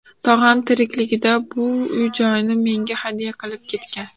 Tog‘am tirikligida bu uy-joyni menga hadya qilib ketgan.